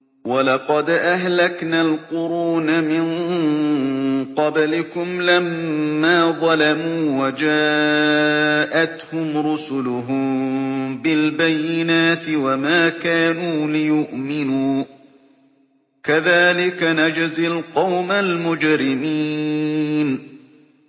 وَلَقَدْ أَهْلَكْنَا الْقُرُونَ مِن قَبْلِكُمْ لَمَّا ظَلَمُوا ۙ وَجَاءَتْهُمْ رُسُلُهُم بِالْبَيِّنَاتِ وَمَا كَانُوا لِيُؤْمِنُوا ۚ كَذَٰلِكَ نَجْزِي الْقَوْمَ الْمُجْرِمِينَ